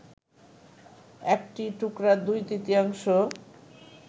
একটি টুকরার দুই তৃতীয়াংশ